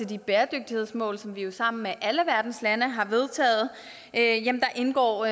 de bæredygtighedsmål som vi jo sammen med alle verdens lande har vedtaget indgår